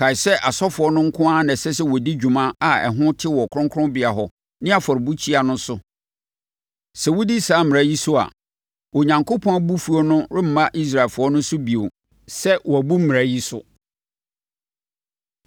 “Kae sɛ asɔfoɔ no nko ara na ɛsɛ sɛ wɔdi dwuma a ɛho te wɔ kronkronbea hɔ ne afɔrebukyia no so. Sɛ wodi saa mmara yi so a, Onyankopɔn abufuo no remma Israelfoɔ no so bio sɛ wɔabu mmara yi so.